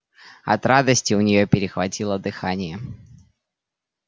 от радости у неё перехватило дыхание